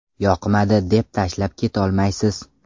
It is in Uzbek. Yoqmadi deb tashlab ketolmaysiz.